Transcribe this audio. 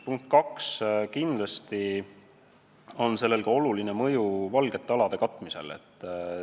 Punkt kaks: kindlasti on sellel ka oluline mõju "valgete alade" katmisele.